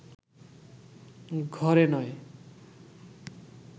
ঘরে নয়